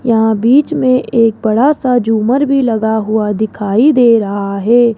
यहां बीच में एक बड़ा सा झूमर भी लगा हुआ दिखाई दे रहा है।